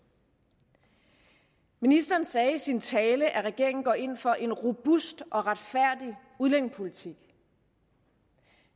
ministeren sagde i sin tale at regeringen går ind for en robust og retfærdig udlændingepolitik